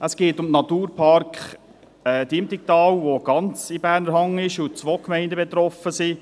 Es geht um den Naturpark Diemtigtal, welcher ganz in Berner Hand ist und wo zwei Gemeinden betroffen sind.